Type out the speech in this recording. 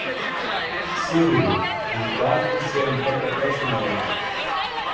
Sigríður: En hvað finnst þér um þetta persónulega?